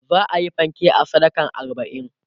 za'ayi fanke a sadakan arbain